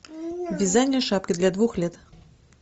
вязание шапки для двух лет